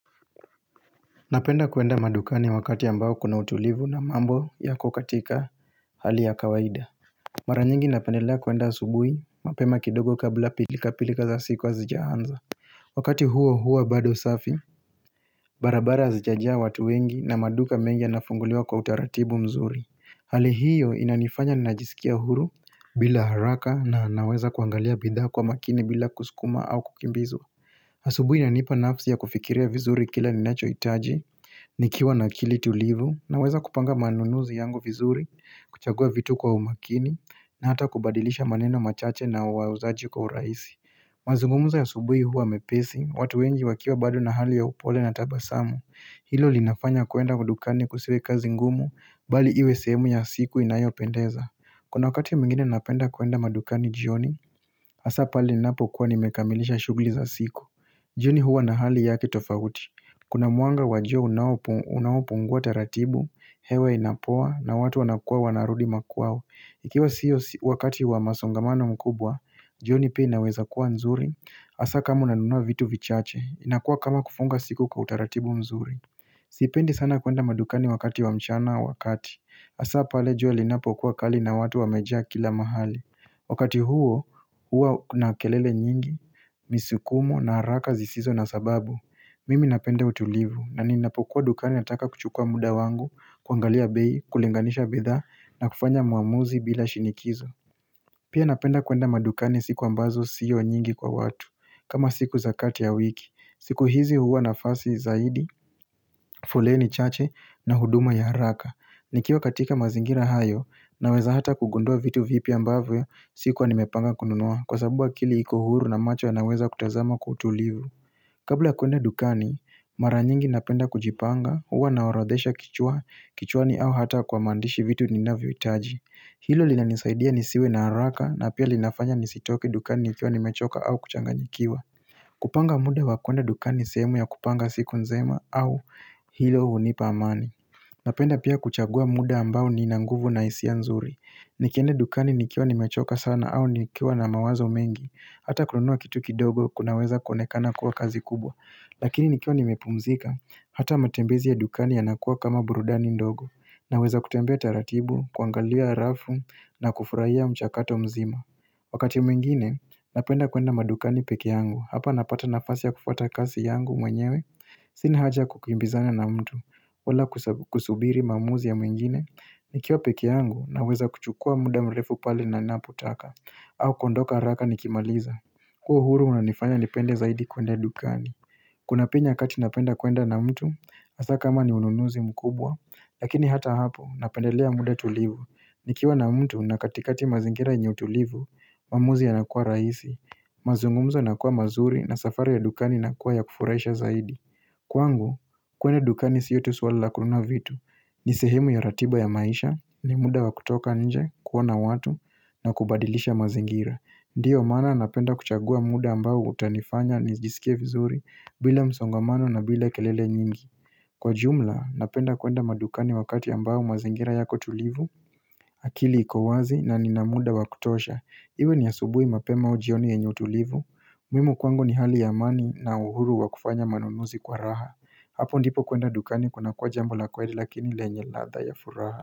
Napenda kuenda madukani wakati ambao kuna utulivu na mambo yako katika hali ya kawaida. Mara nyingi napendelea kuenda asubuhi, mapema kidogo kabla pilika pilika za siku hazijaanza. Wakati huo huo bado safi, barabara hazijajaa watu wengi na maduka mengi yanafunguliwa kwa utaratibu mzuri. Hali hiyo inanifanya ninajisikia huru bila haraka na naweza kuangalia bidha kwa makini bila kuskuma au kukimbizwa. Asubuhi inanipa nafsi ya kufikiria vizuri kila ninachohitaji Nikiwa na akili tulivu naweza kupanga manunuzi yangu vizuri kuchagua vitu kwa umakini na hata kubadilisha maneno machache na wauzaji kwa urahisi Mazungumuzo ya asubuhi huwa mepesi watu wengi wakiwa bado na hali ya upole na tabasamu. Hilo linafanya kwenda dukani kusiwe kazi ngumu bali iwe sehemu ya siku inayopendeza Kuna wakati mwingine napenda kwenda madukani jioni Hasa pale ninapo kuwa nimekamilisha shugli za siku jioni huwa na hali yake tofauti. Kuna mwanga wa jua unaopunguwa taratibu, hewa inapoa na watu wanakuwa wanarudi makwao. Ikiwa siyo wakati wa masongamana makubwa, jioni pia inaweza kuwa nzuri. Hasa kama unanunua vitu vichache, inakuwa kama kufunga siku kwa utaratibu mzuri. Sipendi sana kuenda madukani wakati wa mchana wa kati. Hasa pale jua linapokuwa kali na watu wameja kila mahali Wakati huo huwa kuna kelele nyingi Misukumo na haraka zisizo na sababu Mimi napende utulivu na ninapokuwa dukani nataka kuchukua muda wangu kuangalia bei, kulinganisha bidha na kufanya uamuzi bila shinikizo Pia napenda kuenda madukani siku ambazo sio nyingi kwa watu kama siku za kati ya wiki. Siku hizi huwa nafasi zaidi foleni chache na huduma ya haraka Nikiwa katika mazingira hayo Naweza hata kugundua vitu vipya ambavyo sikuwa nimepanga kununua Kwa sababu akili iko huru na macho yanaweza kutazama kwa utulivu Kabla ya kuenda dukani Mara nyingi napenda kujipanga Uwa naoredhesha kichwa kichwani au hata kwa maandishi vitu ninavyo itaji Hilo linanisaidia nisiwe na haraka na pia linafanya nisitoke dukani nikiwa nimechoka au kuchanganyikiwa kupanga muda wa kuenda dukani sehemu ya kupanga siku nzima au hilo hunipa amani Napenda pia kuchagua muda ambao ninanguvu na hisia nzuri Nikienda dukani nikiwa ni mechoka sana au nikiwa na mawazo mengi Hata kununua kitu kidogo kunaweza kuonekana kuwa kazi kubwa Lakini nikiwa nimepumzika Hata matembezi ya dukani yanakuwa kama burudani ndogo Naweza kutembea taratibu, kuangalia rafu na kufurahia mchakato mzima Wakati mwingine, napenda kuenda madukani peke yangu Hapa napata nafasi ya kufuata kasi yangu mwenyewe Sini haja kukimbizana na mtu, wala kusubiri maamuzi ya mwingine Nikiwa peke yangu naweza kuchukua muda mrefu pale na napotaka au kuondoka haraka nikimaliza huo uhuru unanifanya nipende zaidi kwenda ya dukani Kuna pia nyakati napenda kuenda na mtu, hasa kama ni ununuzi mkubwa Lakini hata hapo, napendelea muda tulivu Nikiwa na mtu na katikati mazingira yenye utulivu, maamuzi yanakua rahisi mazungumzo yanakua mazuri na safari ya dukani inakua ya kufuraisha zaidi Kwangu, kwenda dukani siyo tu swali la kununua vitu ni sehemu ya ratiba ya maisha, ni muda wa kutoka nje, kuona watu na kubadilisha mazingira Ndiyo maana napenda kuchagua muda ambao utanifanya nijisikie vizuri bila msongamano na bila kelele nyingi Kwa jumla, napenda kwenda madukani wakati ambao mazingira yako tulivu akili iko wazi na nina muda wa kutosha Iwe ni asubui mapema au ujioni yenye utulivu muhimu kwangu ni hali ya amani na uhuru wa kufanya manunuzi kwa raha Hapo ndipo kuenda dukani kunakuwa jambo la kweli lakini lenye ladha ya furaha.